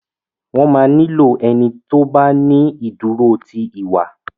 wọ má ní ìlò ẹní tí o bá ní iduro ti iwa.